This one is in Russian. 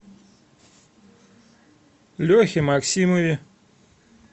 лехе максимове